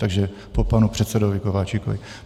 Takže po panu předsedovi Kováčikovi.